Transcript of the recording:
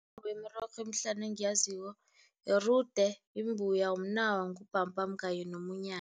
wemirorho emihlanu engiyaziko yirude, imbuya, mnawa, ngubhambhamu kanye